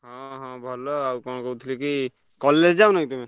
ହଁ ହଁ ଭଲ ଆଉ କଣ କହୁଥିଲି କି college ଯାଉନା କି ତମେ?